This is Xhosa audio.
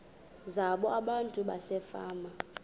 zabo abantu basefama